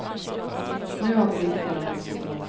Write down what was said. Nu har politikerna nått sitt mål.